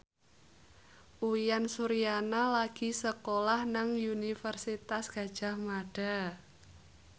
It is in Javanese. Uyan Suryana lagi sekolah nang Universitas Gadjah Mada